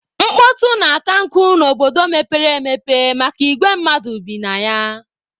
Mkpọtụ na-akankụ n'obodo mepere emepe maka igwe mmadụ bi na ya.